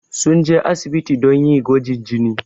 Sun je asibiti don yi gwajin jini.